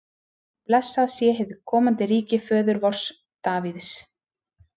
Blessað sé hið komandi ríki föður vors Davíðs!